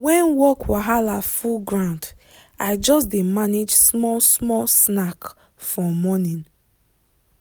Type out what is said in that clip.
when work wahala full ground i just dey manage small small snack for morning.